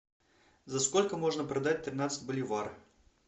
за сколько можно продать тринадцать боливар